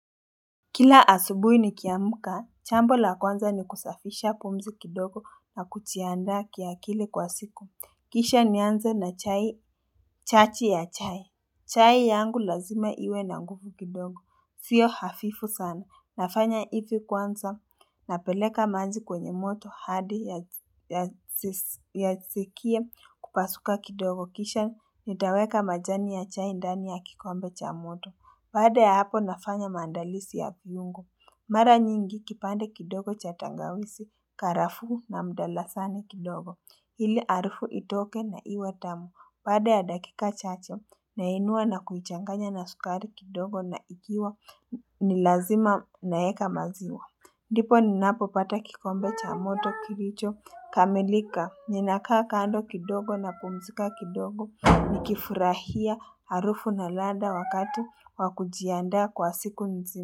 Kila asubuhi nikiamka, jambo la kwanza ni kusafisha pumzi kidogo na kujiandaa kiakili kwa siku. Kisha ni anze na chachi ya chai. Chai yangu lazima iwe na nguvu kidogo. Sio hafifu sana. Nafanya hivi kwanza napeleka maji kwenye moto hadi ya sikie kupasuka kidogo. Kisha nitaweka majani ya chai ndani ya kikombe cha moto. Baada ya hapo nafanya mandalizi ya viungo. Mara nyingi kipande kidogo cha tangawizi, karafuu na mdalasani kidogo. Hili harufu itoke na iwetamu. Baada ya dakika chache na inua na kuichanganya na sukari kidogo na ikiwa ni lazima naweka maziwa. Ndipo ninapo pata kikombe cha moto kilicho kamilika ninakaa kando kidogo na pumzika kidogo nikifurahia harufu na ladha wakati wakujianda kwa siku nzima.